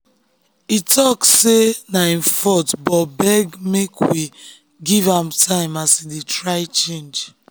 e talk say na him fault but beg make we give am time as e dey try change.